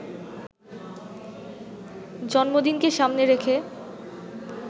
জন্মদিনকে সামনে রেখে